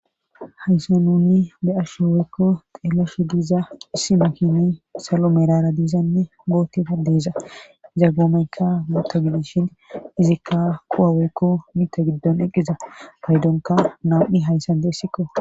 Haysa nuni be'ashe weykko xeelashe diiza issi mokini salo merara diizanne gootida deeza zaggoomayka mota gidishin izikka quwaweykko mita giddon eqqiza paydonka nam'i hayssan deessikko